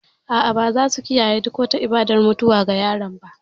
A'a, ba za su kiyaye duk wata ibadar mutuwa ga yaron ba.